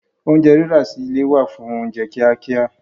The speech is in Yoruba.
Oúnjẹ rírà sí ilé wà fún oúnjẹ kíá kíá